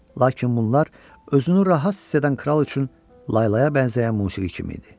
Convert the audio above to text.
Lakin bunlar özünü rahat hiss edən kral üçün laylaya bənzəyən musiqi kimi idi.